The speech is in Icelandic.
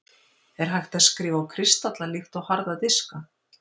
Er hægt að skrifa á kristalla líkt og harða diska?